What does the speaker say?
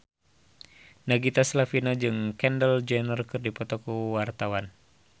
Nagita Slavina jeung Kendall Jenner keur dipoto ku wartawan